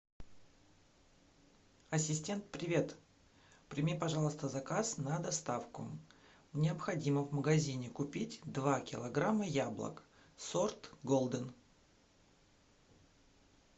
ассистент привет прими пожалуйста заказ на доставку необходимо в магазине купить два килограмма яблок сорт голден